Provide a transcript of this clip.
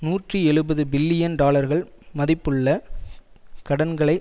நூற்றி எழுபது பில்லியன் டாலர்கள் மதிப்புள்ள கடன்களை